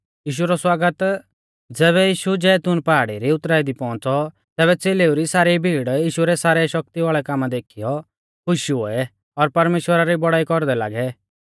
ज़ैबै यीशु जैतून पहाड़ी री उतराई दी पौउंच़ौ तैबै च़ेलेऊ री सारी भीड़ यीशु रै सारै शक्ति वाल़ै कामा देखीयौ खुश हुऐ और परमेश्‍वरा री बौड़ाई कौरदै लागै